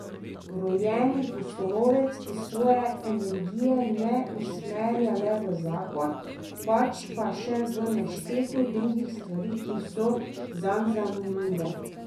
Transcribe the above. Rojeni pustolovec, ki svoje energije ne usmerja le v zakon, pač pa še v nešteto drugih stvari, ki so zanj zanimive.